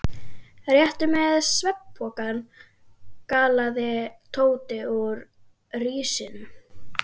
Réttu mér svefnpokana galaði Tóti úr risinu.